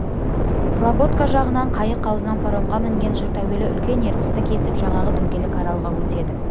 слободка жағынан қайық аузынан паромға мінген жұрт әуелі үлкен ертісті кесіп жаңағы дөңгелек аралға өтеді